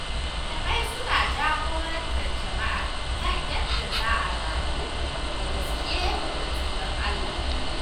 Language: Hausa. Malamai suna jagorantar jama’a kan yadda za a rayu da gaskiya da tsoron Allah.